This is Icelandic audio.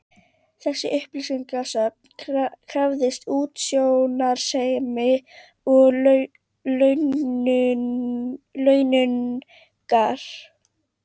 Þessi upplýsingasöfnun krafðist útsjónarsemi og launungar.